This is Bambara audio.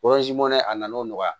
a nana o nɔgɔya